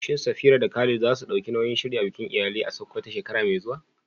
Shin Safira da Khalid za su ɗauki nauyin shirya bikin iyali a Sakkwato shekara mai zuwa?